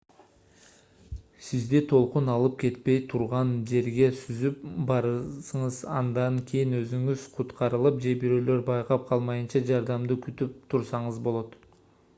сизди толкун алып кетпей турган жерге сүзүп барыңыз андан кийин өзүңүз куткарылып же бирөөлөр байкап калмайынча жардамды күтүп турсаңыз болот